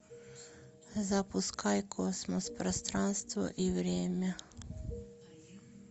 запускай космос пространство и время